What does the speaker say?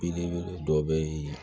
Belebele dɔ bɛ yen